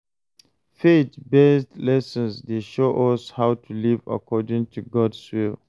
Faith-based lessons dey show us how to live according to God’s will.